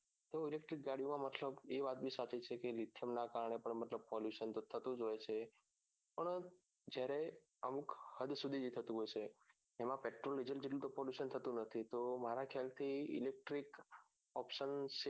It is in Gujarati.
તો electric ગાડીઓમાં મતલબ એ વાત ની lithium કારણે પણ મતલબ pollution થતું જ હોય છે પણ જયારે અમુક હદ સુધી નું થતું હોય છે એમાં petrol diesel જેટલું તો polluttion થતું નથી મારા ખ્યાલ થી electric option શોધ કરી શકાય શું કેવું થાય તારું